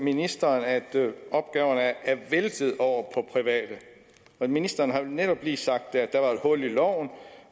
ministeren at opgaverne er blevet væltet over på private ministeren har jo netop lige sagt at der var et hul i loven